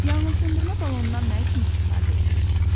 Yanğınsöndürmə balonundan nə üçün istifadə edilir?